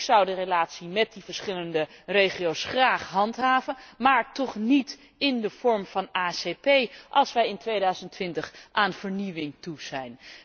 Ik zou de relatie met die verschillende regio's graag handhaven, maar toch niet in de vorm van ACS, als wij in 2020 aan vernieuwing toe zijn.